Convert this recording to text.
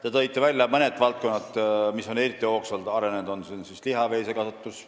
Te nimetasite mõned valdkonnad, mis on eriti hoogsalt arenenud, näiteks lihaveisekasvatus.